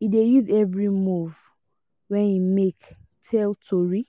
e dey use every move wey im make tell tori.